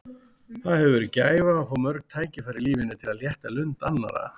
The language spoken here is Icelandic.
Það hefur verið gæfa að fá mörg tækifæri í lífinu til að létta lund annarra.